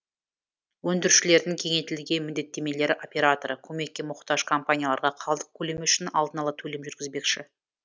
өндірушілердің кеңейтілген міндеттемелері операторы көмекке мұқтаж компанияларға қалдық көлемі үшін алдын ала төлем жүргізбекші